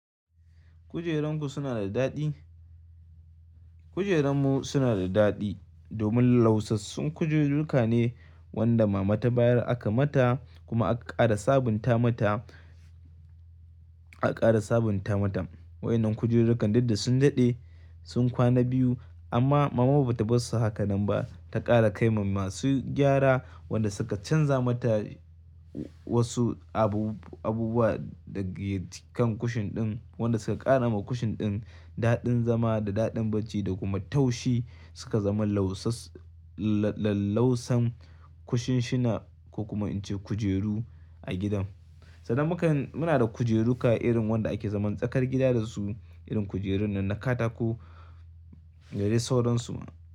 Kujeranku suna da daɗi? Kujerunmu suna da daɗi domin lausasun kujeruka ne wanda mama ta bayar aka mata kuma aka ƙara sabunta mata, aka ƙara sabunta matan. Wa'inan kujerukan duk ɗe sun daɗe sun kwana biyu amma mama ba ta bar su hakan nan ba, ta ƙara kai ma masu gyara wanɗa suka canza mata wasu abubuwa daga kan kushin ɗin wanɗa suka ƙara ma kushin ɗin daɗin zama da daɗin bacci da kuma taushi suka zama laussas laussan kushishina ko kuma in ce kujeru a gidan. Sannan mukan muna da kujeruka irin wanda ake zaman tsakar gida da su irin kujerun nan na katako gare sauransu.